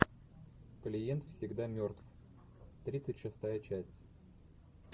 клиент всегда мертв тридцать шестая часть